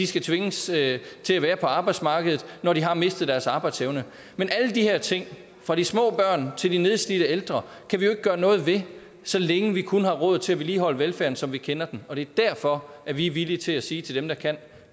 skal tvinges til at være på arbejdsmarkedet når de har mistet deres arbejdsevne men alle de her ting fra de små børn til de nedslidte ældre kan vi jo ikke gøre noget ved så længe vi kun har råd til at vedligeholde velfærden som vi kender den og det er derfor vi er villige til at sige til dem der kan